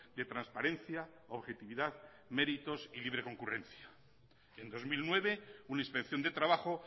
de transparencia objetividad méritos y libre concurrencia en dos mil nueve una inspección de trabajo